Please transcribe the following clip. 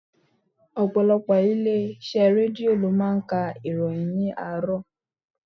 Ọ̀pọ̀lọpọ̀ ilé iṣẹ́ Rédíò lo máa ń ka ìròyìn ni àárọ̀.